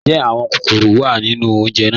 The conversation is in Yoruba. Njẹ́ awọn kọkọ́rọ́ wá nínu ọ̀unjè náà?